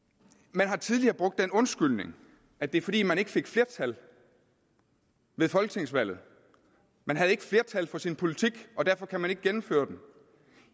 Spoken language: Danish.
man har tidligere brugt den undskyldning at det er fordi man ikke fik flertal ved folketingsvalget man har ikke flertal for sin politik og derfor kan man ikke gennemføre den